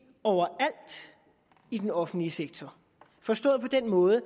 overalt i den offentlige sektor forstået på den måde at